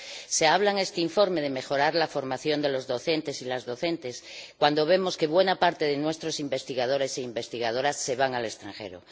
Se habla en este informe de mejorar la formación de los docentes y las docentes, cuando vemos que buena parte de nuestros investigadores e investigadoras se van al extranjero.